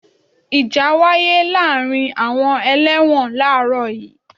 Ìjà wáyé láàárín àwọn ẹlẹ́wọ̀n làárọ̀ yii.